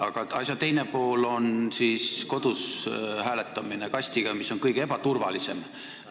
Aga asja teine pool on kodus hääletamine kasti abil, mis on kõige ebaturvalisem.